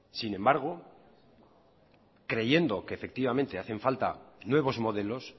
sin embargo creyendo que efectivamente hacen falta nuevos modelos